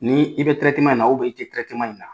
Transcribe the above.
N'i bɛ in na i tɛ in na.